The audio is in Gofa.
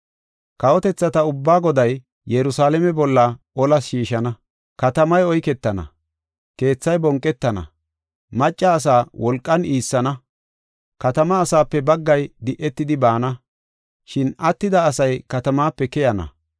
Kawotethata ubbaa Goday Yerusalaame bolla olas shiishana. Katamay oyketana; keethay bonqetana; macca asaa wolqan iissana. Katamaa asaape baggay di7etidi baana; shin attida asay katamaape keyenna.